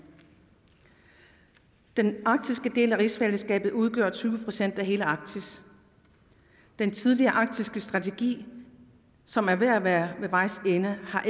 den arktiske del af rigsfællesskabet udgør tyve procent af hele arktis den tidligere arktiske strategi som er ved at være ved vejs ende har